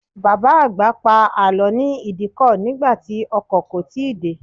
Bàbá àgbà pa àlọ́ ní Ìdíkọ̀ nígbà tí ọkọ̀ kò tíì dé.